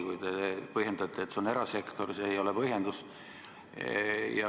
Kui te põhjendate nii, et see on erasektor, siis see ei ole põhjendus.